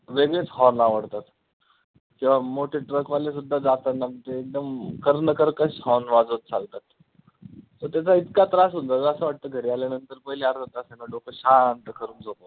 वेगळेच horn आवडतात किंवा मोठे truck वाले सुद्धा जाताना म्हणजे एकदम कर्णकर्कश horn वाजवतं चालतात so त्याचा इतका त्रास होतो असं वाटतं घरी आल्यानंतर पहिले अर्धा तास आहे ना डोकं शांत करून झोपवं.